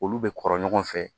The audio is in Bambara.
Olu bɛ kɔrɔ ɲɔgɔn fɛ